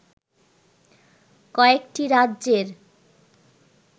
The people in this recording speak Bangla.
কয়েকটি রাজ্যের